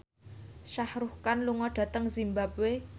Shah Rukh Khan lunga dhateng zimbabwe